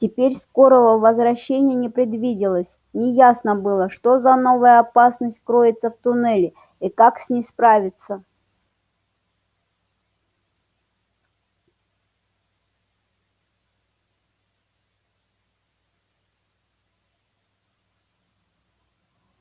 теперь скорого возвращения не предвиделось неясно было что за новая опасность кроется в туннеле и как с ней справляться